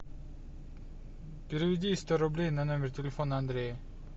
переведи сто рублей на номер телефона андрея